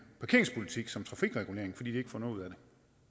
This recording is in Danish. parkeringspolitik som trafikregulering fordi de ikke får noget ud af det